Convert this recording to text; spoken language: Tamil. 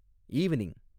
ஈவ்னிங்